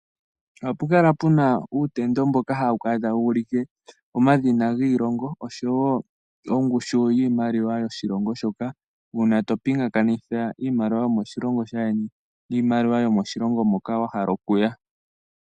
Oha pukala puna uutendo mboka hawu kala tuwu ulike omadhina giilongo nongushu yiimaliwa yomoshilongo shoka uuna topingakanitha iimaliwa yomoshilongo shaayeni nomoshilongo moko wa hala okuya.